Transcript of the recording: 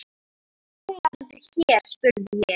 Málarðu hér? spurði ég.